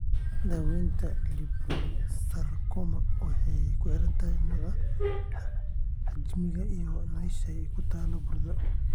Daaweynta liposarcoma waxay kuxirantahay nooca, xajmiga, iyo meesha ay ku taal burada.